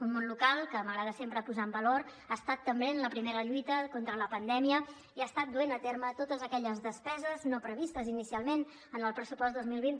un món local que m’agrada sempre posar ho en valor ha estat també en la primera lluita contra la pandèmia i ha estat duent a terme totes aquelles despeses no previstes inicialment en el pressupost dos mil vint